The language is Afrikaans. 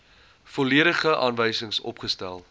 volledige aanwysings opgestel